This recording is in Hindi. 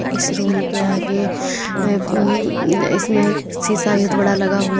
इस रूम के आगे अं इसमें शीशा बहुत बड़ा लगा हुआ--